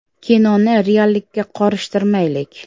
“Kinoni reallikka qorishtirmaylik”.